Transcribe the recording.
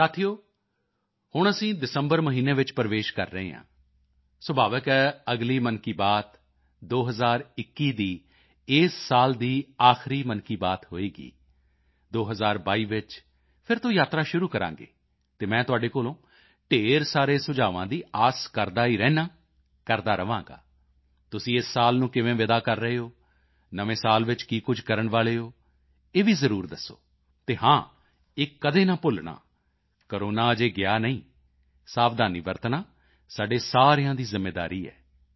ਸਾਥੀਓ ਹੁਣ ਅਸੀਂ ਦਸੰਬਰ ਮਹੀਨੇ ਵਿੱਚ ਪ੍ਰਵੇਸ਼ ਕਰ ਰਹੇ ਹਾਂ ਸੁਭਾਵਿਕ ਹੈ ਅਗਲੀ ਮਨ ਕੀ ਬਾਤ 2021 ਦੀ ਇਸ ਸਾਲ ਦੀ ਆਖਰੀ ਮਨ ਕੀ ਬਾਤ ਹੋਵੇਗੀ 2022 ਵਿੱਚ ਫਿਰ ਤੋਂ ਯਾਤਰਾ ਸ਼ੁਰੂ ਕਰਾਂਗੇ ਅਤੇ ਮੈਂ ਤੁਹਾਡੇ ਕੋਲੋਂ ਢੇਰ ਸਾਰੇ ਸੁਝਾਵਾਂ ਦੀ ਆਸ ਕਰਦਾ ਹੀ ਰਹਿੰਦਾ ਹਾਂ ਕਰਦਾ ਰਹਾਂਗਾ ਤੁਸੀਂ ਇਸ ਸਾਲ ਨੂੰ ਕਿਵੇਂ ਵਿਦਾ ਕਰ ਰਹੇ ਹੋ ਨਵੇਂ ਸਾਲ ਵਿੱਚ ਕੀ ਕੁਝ ਕਰਨ ਵਾਲੇ ਹੋ ਇਹ ਵੀ ਜ਼ਰੂਰ ਦੱਸੋ ਅਤੇ ਹਾਂ ਇਹ ਕਦੇ ਨਾ ਭੁੱਲਣਾ ਕੋਰੋਨਾ ਅਜੇ ਗਿਆ ਨਹੀਂ ਹੈ ਸਾਵਧਾਨੀ ਵਰਤਣਾ ਸਾਡੇ ਸਾਰਿਆਂ ਦੀ ਜ਼ਿੰਮੇਵਾਰੀ ਹੈ